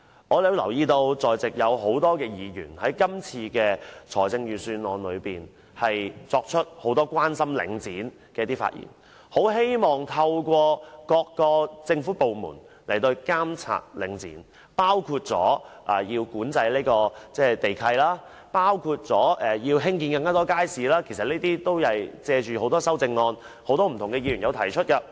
我發現多位在席的議員均在今年的預算案辯論中提出許多對領展的關注。他們希望各個政府部門能透過不同措施對領展進行監管，包括管制地契、興建更多街市等，其實有些議員正是藉修正案作出有關建議。